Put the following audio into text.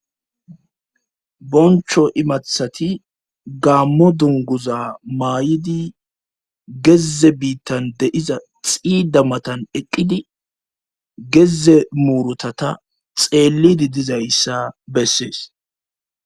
Boncho imathati gaammo dunguza maay'idi gezze biittan deiza xiida matan eqqidi geze murutata xeellidi dizayssa bessees.